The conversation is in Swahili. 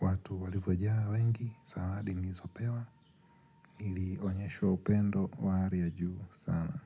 watu walivyojaa wengi zawadi nizopewa nilionyeshwa upendo wa hali ya juu sana.